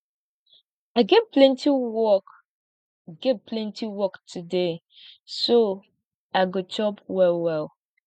i get plenty work get plenty work today so i go chop wellwell